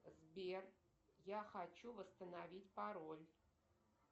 сбер я хочу восстановить пароль